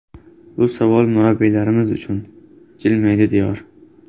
Bu savol murabbiylarimiz uchun, jilmaydi Diyor.